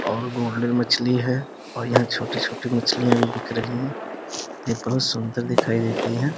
और गोल्डन मछ्ली है और यहाँ छोटी- छोटी मछलियाँ भी बिक रही हैं यह बहुत सुन्दर दिखाई देती हैं ।